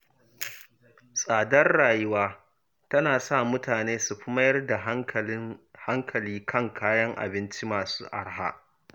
Tsadar rayuwa tana sa mutane su fi mayar da hankali kan kayan abinci masu araha.